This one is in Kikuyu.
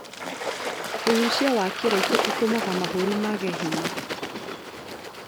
Ũgucia wa kĩraiko ũtũmaga mahũri mage hinya